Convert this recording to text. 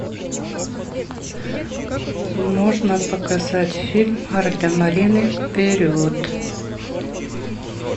можно показать фильм гардемарины вперед